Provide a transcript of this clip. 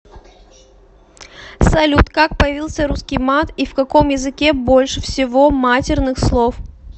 салют как появился русский мат и в каком языке больше всего матерных слов